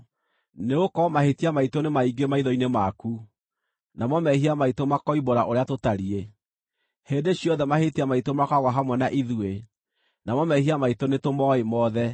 Nĩgũkorwo mahĩtia maitũ nĩ maingĩ maitho-inĩ maku, namo mehia maitũ makoimbũra ũrĩa tũtariĩ. Hĩndĩ ciothe mahĩtia maitũ makoragwo hamwe na ithuĩ, namo mehia maitũ nĩtũmooĩ mothe: